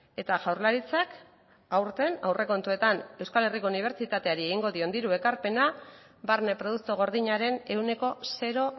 eta jaurlaritzak aurten aurrekontuetan euskal herriko unibertsitateari egingo dion ekarpena barne produktu gordinaren ehuneko zero